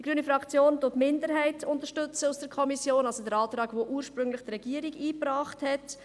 Die grüne Fraktion unterstützt die Minderheit der Kommission, also den Antrag, den ursprünglich die Regierung eingebracht hat.